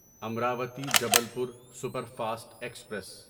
Amravati Jabalpur super fast express